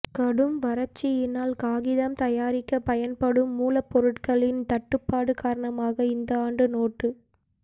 கடும் வறட்சியினால் காகிதம் தயாரிக்க பயன்படும் மூலப்பொருட்களின் தட்டுப்பாடு காரணமாக இந்த ஆண்டு நோட்டு